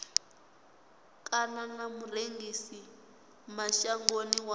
kana na murengisi mashangoni wa